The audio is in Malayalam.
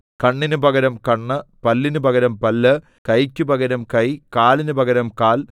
കണ്ണിന് പകരം കണ്ണ് പല്ലിന് പകരം പല്ല് കൈയ്ക്കു പകരം കൈ കാലിന് പകരം കാൽ